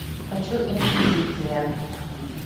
хочу инквизиция